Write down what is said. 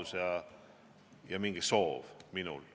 Seda ma ei ole soovinud.